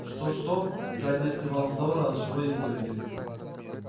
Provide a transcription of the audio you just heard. что что гарри не отрывал взора от живой изгороди